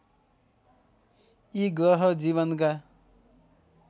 यी ग्रह जीवनका